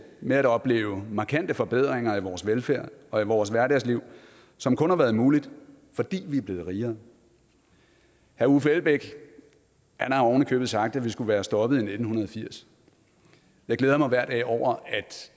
med at opleve markante forbedringer af vores velfærd og af vores hverdagsliv som kun har været muligt fordi vi er blevet rigere herre uffe elbæk har ovenikøbet sagt at vi skulle være stoppet i nitten firs jeg glæder mig hver dag over